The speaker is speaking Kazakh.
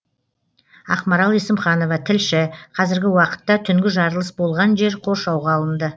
ақмарал есімханова тілші қазіргі уақытта түнгі жарылыс болған жер қоршауға алынды